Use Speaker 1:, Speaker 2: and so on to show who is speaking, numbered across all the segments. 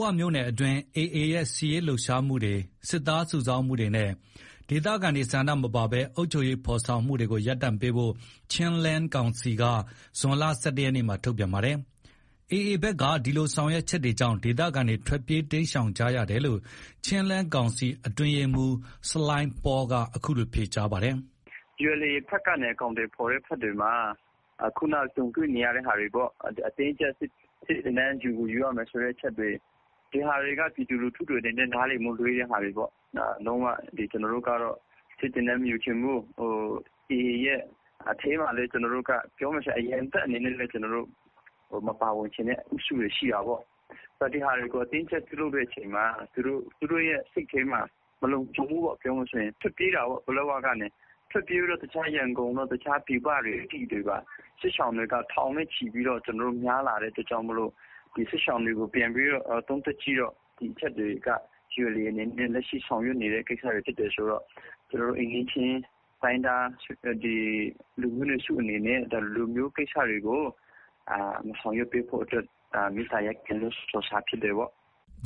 Speaker 1: ဝမြို့နယ်တွင်း AA ရဲ့ စစ်ရေးလှုပ်ရှားမှုတွေ၊ စစ်သားစုဆောင်းမှုတွေနဲ့ ဒေသခံတွေဆန္ဒမပါဘဲ အုပ်ချုပ်ရေးဖော်ဆောင်တာတွေကို ရပ်တန့်ပေးဖို့ Chinland Council က ဇွန်လ ၁၁ ရက်မှာ ထုတ်ပြန်တာပါ။ AA ဘက်က ဒီလို ဆောင်ရွက်ချက်တွေကြောင့် ဒေသခံတွေ ထွက်ပြေးတိမ်းရှောင်ကြရတယ်လို့ Chinland Council အတွင်းရေးမှူး ဆလိုင်းပေါလ်က အခုလို ဖြေကြားပါတယ်
Speaker 2: ။ "ULA ဘက်ကနေ အကောင်အထည်ဖော်တဲ့ဘက်တွေမှာ ခုနကြုံတွေ့နေရတဲ့ ဟာတွေပေါ့။ အတင်းအကြပ် စစ်သင်တန်း ယူကိုယူရမယ်ဆိုတဲ့အချက်တွေ၊ ဒီဟာတွေက ပြည်သူလူထုအနေနဲ့ နားလည်မှုလွဲတဲ့ဟာတွေပေါ့။ လုံးဝ ကျနော်တို့က စစ်သင်တန်းမယူချင်ဘူး။ AA ရဲ့အထဲမှာလည်း ပြောမယ်ဆို အရံတပ်အနေနဲ့ မပါဝင်ချင်တဲ့ အုပ်စုတွေ ရှိတာပေါ့။ ဒီဟာတွေကို အတင်းအကြပ်ပြုလုပ်တဲ့အချိန်မှာ သူတို့ရဲ့စိတ်ထဲမှာ မလုံခြုံဘူးပေါ့။ ထွက်ပြေးတာပေါ့။ ပလက်ဝကနေ ထွက်ပြေးပြီးတော့ ရန်ကုန်တို့၊ တခြားပြည်ပတွေတို့ စစ်ရှောင်တွေက ထောင်နဲ့ချီပြီးများလာတဲ့အတွက်ကြောင့်မို့လို့ စစ်ရှောင်တွေကို ပြန်ပြီးတော့ သုံးသပ်ကြည့်တော့ ဒီအချက်တွေက ULA အနေနဲ့ လက်ရှိဆောင်ရွက်နေတဲ့ ကိစ္စတွေဖြစ်တယ်ဆိုတော့ သူတို့ အိမ်နီးချင်း တိုင်းရင်းသားလူမျိုးနွယ်စုအနေနဲ့ ဒီလိုမျိုးကိစ္စတွေကို မဆောင်ရွက်ပေးဖို့အတွက် မေတ္တာရပ်ခံပြီး ထုတ်ပြန်တဲ့စာဖြစ်တယ်ပေါ့။" အ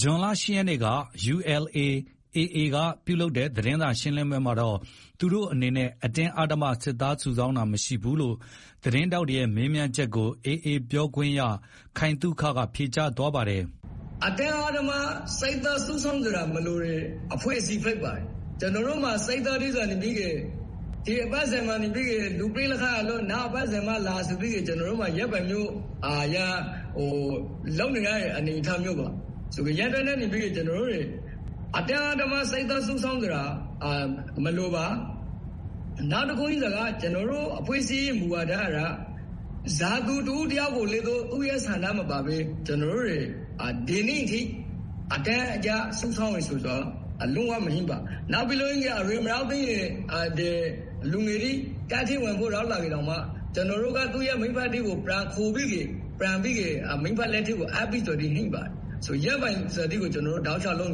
Speaker 1: ခု ဇွန်လ ၈ ရက်က ULA/AA က ပြုလုပ်တဲ့ သတင်းစာရှင်းလင်းပွဲမှာတော့ သူတို့အနေနဲ့ အတင်းအဓမ္မ စစ်သားစုဆောင်းတာမရှိဘူးလို့ သတင်းထောက်တွေရဲ့ မေးမြန်းမှုကို AA ပြောခွင့်ရ ခိုင်သုခက ဖြေကြားသွားပါတယ်
Speaker 3: ။ "အတင်းအဓမ္မ စစ်သားစုဆောင်းစရာမလိုတဲ့ အဖွဲ့အစည်းဖြစ်ပါတယ်။ ကျနော်တို့မှာ စစ်သားတွေက 'ဒီအပတ်စဉ်မှာလူပြည့်လို့ နောက်အပတ်စဉ်မှလာ' ဆိုပြီးလုပ်နေရတဲ့ အနေအထားမျိုးပါ။ ကျနော်တို့အနေနဲ့ အတင်းအဓမ္မ စစ်သားစုဆောင်းစရာမလိုပါ။ နောက်တခုရှိတာက ကျနော်တို့ အဖွဲ့အစည်းမူဝါဒက ဘယ်သူတဦးတယောက်ကိုမှ သူ့ရဲ့ဆန္ဒမပါဘဲ ဒီနေ့အထိ အတင်းကြပ်စုဆောင်းတာ လုံးဝမရှိပါ။ နောက်ပြီး အရွယ်မရောက်သေးတဲ့ လူငယ်တွေတပ်ထဲဝင်ဖို့ရောက်လာရင်တောင် ကျနော်တို့က သူ့ရဲ့ မိဘတွေကို ပြန်ခေါ်ပြီး ပြန်အပ်ပါတယ်။ ဒီပုံစံမျိုး အတင်းအဓမ္မ လူသစ်စုဆောင်းတာ လုံး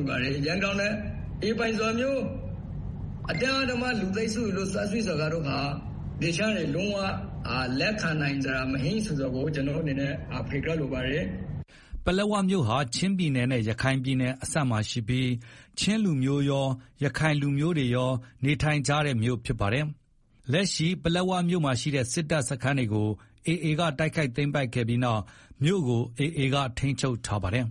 Speaker 3: ဝ လက်ခံနိုင်စရာမရှိဆိုတာကို ဖြေကြားလိုပါတယ်။"
Speaker 1: ပလက်ဝမြို့ဟာ ချင်းပြည်နယ်နဲ့ ရခိုင်ပြည်နယ် အစပ်မှာရှိပြီး ချင်းလူမျိုးကော ရခိုင်လူမျိုးတွေကော နေထိုင်ကြတဲ့ မြို့ဖြစ်ပါတယ်။ လက်ရှိ ပလက်ဝမြို့မှာ ရှိတဲ့ စစ်တပ်စခန်းတွေကို AA က တိုက်ခိုက်သိမ်းပိုက်ခဲ့ပြီးနောက် မြို့ကို AA ကပဲထိန်းချုပ်ထားပါတယ်။